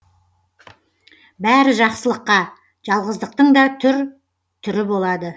бәрі жақсылыққа жалғыздықтың да түр түрі болады